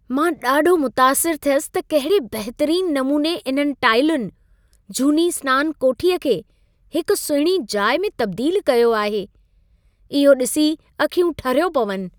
मां ॾाढो मुतासिर थियसि त कहिड़े बहितरीन नमूने इन्हनि टाइलुनि, झूनी सिनान कोठीअ खे हिक सुहिणी जाइ में तब्दील कयो आहे। इहो ॾिसी अखियूं ठरियो पवनि।